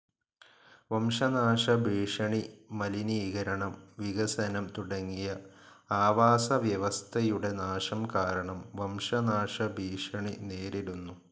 വംശനാശ ഭീഷണി, മലിനീകരണം, വികസനം തുടങ്ങിയ ആവാസ വ്യവസ്ഥയുടെ നാശം കാരണം വംശനാശ ഭീഷണി നേരിടുന്നു.